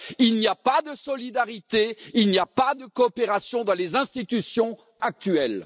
Il n'y a pas de solidarité, il n'y a pas de coopération dans les institutions actuelles.